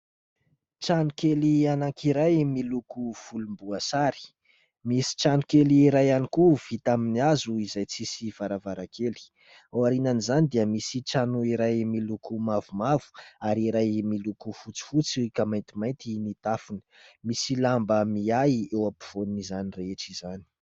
Tranokely anankiray miloko volomboasary, misy tranokely iray ihany koa vita amin'ny hazo izay tsisy varavarankely. Ao aorian'izany dia misy trano iray miloko mavomavo ary iray miloko fotsifotsy ka maintimainty ny tafony. Misy lamba miahy eo ampovoan'izany rehetra izany.